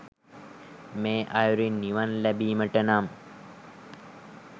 මේ අයුරින් නිවන් ලැබීමට නම්